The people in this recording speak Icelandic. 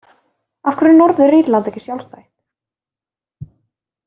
Af hverju er Norður-Írland ekki sjálfstætt?